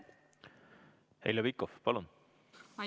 Heljo Pikhof, palun!